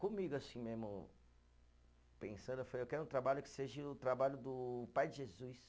Comigo assim mesmo, pensando, eu falei, eu quero um trabalho que seja o trabalho do pai de Jesus.